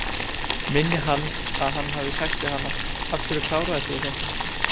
Minni hann að hann hafi sagt við hana: Af hverju klárar þú þetta ekki?